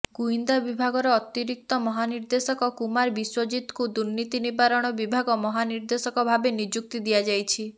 ଗୁଇନ୍ଦା ବିଭାଗର ଅତିରିକ୍ତ ମହାନିର୍ଦେଶକ କୁମାର ବିଶ୍ବଜିତ୍ଙ୍କୁ ଦୁର୍ନୀତି ନିବାରଣ ବିଭାଗ ମହାନିର୍ଦେଶକ ଭାବେ ନିଯୁକ୍ତି ଦିଆଯାଇଛି